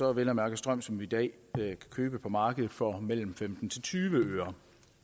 er vel at mærke strøm som vi i dag kan købe på markedet for femten til tyve øre